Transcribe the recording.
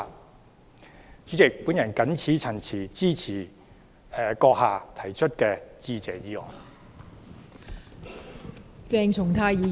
代理主席，我謹此陳辭，支持閣下提出的致謝議案。